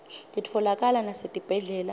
titfolakala nasetibhedlela